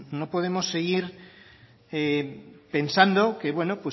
no podemos seguir pensando que bueno